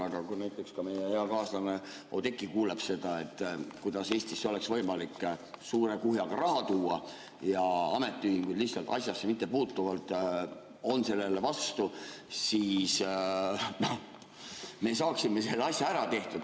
Aga kui näiteks ka meie hea kaaslane Oudekki kuulab seda, kuidas Eestisse oleks võimalik suure kuhjaga raha tuua, aga ametiühingud lihtsalt asjasse mittepuutuvalt on sellele vastu, siis me saaksime selle asja ära tehtud.